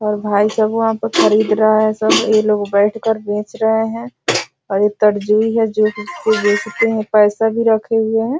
और भाई साहब वहाँ पर खरीद रहा है सब ये लोग बैठ कर बेच रहे है और ये तरजुइ है जो की बेचते है पैसा भी रखे हुए है।